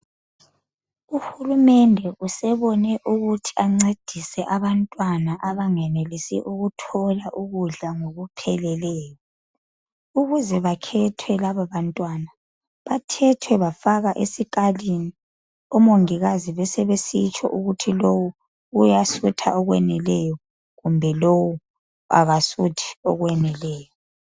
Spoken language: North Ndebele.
Uhulumende usebone kungcono ukuthi ancedise abantwana abangenelisi ukuthola ukudla ngokupheleleyo, ukuze bakhethwe laba bantwana bathethwe bafakwa esikalini ukuze omongikazi betsho ukuthi lowu uyasutha okwaneleyo kumbe kasuthi okwaneleyo.